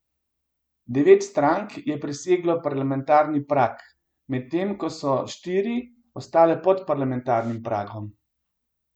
Devet strank je preseglo parlamentarni prag, medtem ko so štiri ostale pod parlamentarnim pragom.